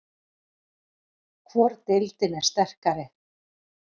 Hvor deildin er sterkari?